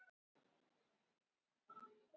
Ég er, ég vill og ég fær.